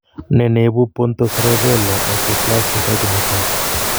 Nee neibu pontocerebellar hypoplasia taipit netaa